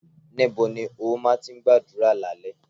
Níbo ni ó má tí ń gbàdúrà lálẹ́?